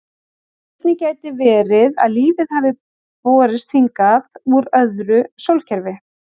Einnig gæti verið að lífið hafi borist hingað úr öðru sólkerfi.